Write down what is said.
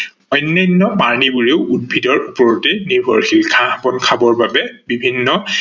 অন্যান্য প্ৰাণিবোৰেও উদ্ভিদৰ ওপৰতে নিৰ্ভৰশীল, ঘাহ-বন খাব বাবে বিভিন্ন